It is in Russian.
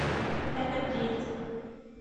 энергетик